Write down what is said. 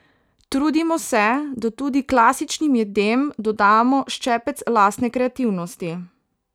Trudimo se, da tudi klasičnim jedem dodamo ščepec lastne kreativnosti.